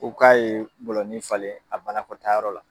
U k'a ye bɔlɔnni falen a banakɔtayɔrɔ la.